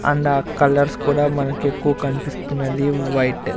అందా కలర్స్ కూడా మనకి ఎక్కువ కనిపిస్తున్నది వైట్ --